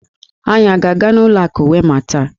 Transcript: Anyị a ga-aga n'ụlọ akụ Wema taa?